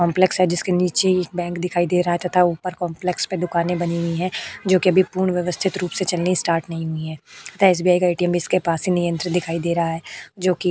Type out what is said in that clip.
complex है जिसके नीचे एक बैंक दिखाई दे रहा है तथा ऊपर काम्प्लेक्स पे दुकाने बनी हुई है जोकि अभी पूर्ण व्यवस्थित रूप से चलनी स्टार्ट नहीं हुई है तथा एसबीआई का एटीएम इसके पास दिखाई दे रहा है जोकि --